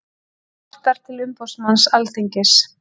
Kvartar til umboðsmanns Alþingis